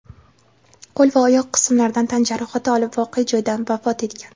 qo‘l va oyoq qismlaridan tan jarohati olib voqea joyida vafot etgan.